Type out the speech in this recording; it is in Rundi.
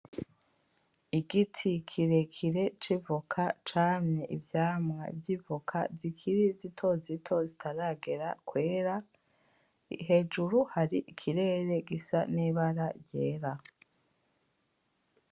Igiti kirekire c'ivoka camye ivyamwa vy'ivoka zikiri zitozito zitaragera kwera. Hejuru hari ikirere gisa n'ibara ryera.